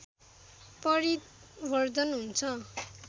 परिवर्धन हुन्छ।